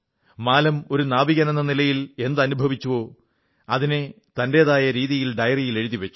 മാലം ഒരു നാവികനെന്ന നിലയിൽ എന്തനുഭവിച്ചുവോ അതിനെ തന്റെതായ രീതിയിൽ ഡയറിയിൽ എഴുതി വച്ചു